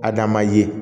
Adama ye